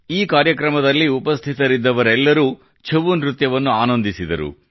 ಈ ಕಾರ್ಯಕ್ರಮದಲ್ಲಿ ಉಪಸ್ಥಿತರಿದ್ದವರೆಲ್ಲರೂ ಛವು ನೃತ್ಯವನ್ನು ಆನಂದಿಸಿದರು